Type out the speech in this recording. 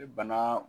Bana